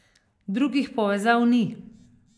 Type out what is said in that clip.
Drugih povezav ni.